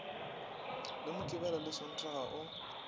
le mokibelo le sontaga o